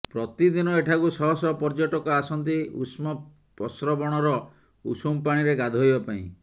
ପ୍ରତିଦିନ ଏଠାକୁ ଶହ ଶହ ପର୍ଯ୍ୟଟକ ଆସନ୍ତି ଉଷ୍ମ ପସ୍ରବଣର ଉଷୁମ ପାଣିରେ ଗାଧୋଇବା ପାଇଁ